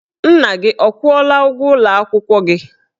Nna gị ọ kwụọla ụgwọ ụlọ akwụkwọ gị?